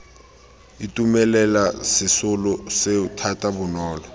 itumelela sesolo seo thata bonolo